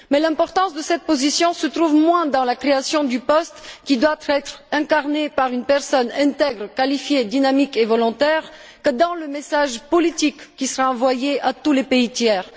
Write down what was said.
Mais l'importance de cette position réside moins dans la création du poste, qui doit être incarné par une personne intègre, qualifiée, dynamique et volontaire, que dans le message politique qui sera envoyé à tous les pays tiers.